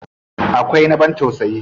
Akwai na abin tausayi.